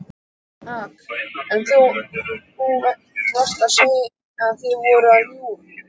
AK: En þú veist að þið voruð að ljúga?